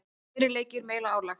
Fleiri leikir, meira álag.